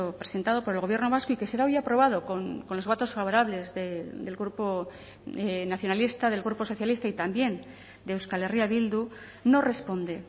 presentado por el gobierno vasco y que será hoy aprobado con los votos favorables del grupo nacionalista del grupo socialista y también de euskal herria bildu no responde